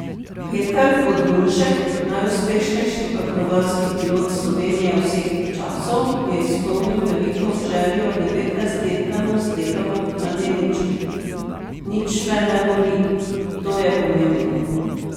Peter Podlunšek, najuspešnejši akrobatski pilot Slovenije vseh časov, je izpolnil veliko željo devetnajstletnemu slepemu mladeniču: 'Nič me ne boli, to je pomembno.